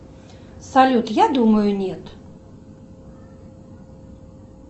салют я думаю нет